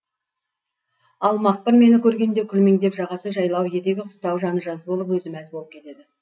ал мақпыр мені көргенде күлмеңдеп жағасы жайлау етегі қыстау жаны жаз болып өзі мәз болып кетеді